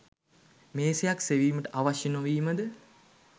මේසයක් සෙවීමට අවශ්‍ය නොවීමද